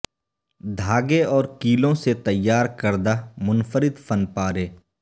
دھاگے اور کیلوں سے تیار کردہ منفرد فن پارے